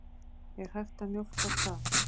Er hægt að mjólka hval?